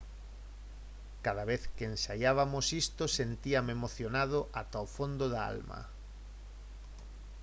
«cada vez que ensaiabamos isto sentíame emocionado ata o fondo da alma»